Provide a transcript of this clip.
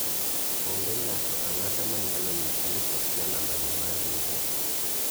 onge ng'ato ang'ata ma nyalo nyisa ni okia nambane mar riwruok